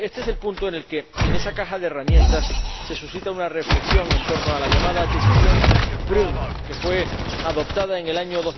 Y este es el punto en el que, en esa caja de herramientas se suscita una reflexión en torno a la llamada Decisión Prüm, que fue adoptada en el año